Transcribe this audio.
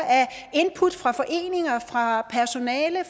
input fra foreninger fra personale